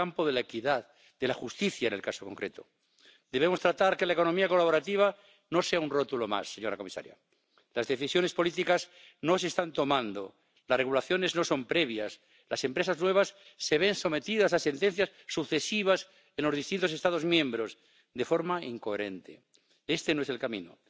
De verkeersveiligheid in Europa moet en kan beter! De mobiliteit van personen en goederen neemt nog steeds verder toe en dat is goed voor onze economie en de welvaart van Europeanen, maar dat zorgt ook voor vollere wegen en voor verkeersinfarcten. Het gaat mij persoonlijk nog meer aan het hart dat dit alles ten